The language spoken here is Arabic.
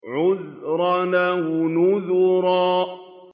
عُذْرًا أَوْ نُذْرًا